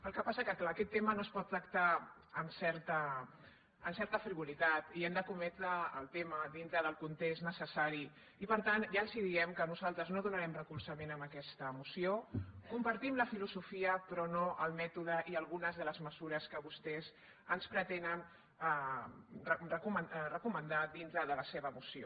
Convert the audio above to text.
el que passa és que clar aquest tema no es pot tractar amb certa frivolitat i hem d’escometre el tema dintre del context necessari i per tant ja els diem que nosaltres no donarem recolzament a aquesta moció compartim la filosofia però no el mètode i algunes de les mesures que vostès ens pretenen recomanar dintre de la seva moció